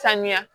Sanuya